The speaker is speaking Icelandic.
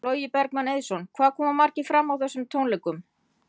Logi Bergmann Eiðsson: Hvað koma margir fram á þessum tónleikum?